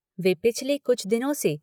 वे पिछले कुछ दिनों से